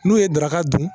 N'u ye daraka dun